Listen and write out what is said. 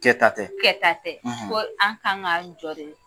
Kɛ ta tɛ? Kɛ ta tɛ .Ko anw kan k'an jɔ de